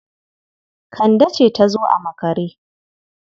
It was Kande that come late.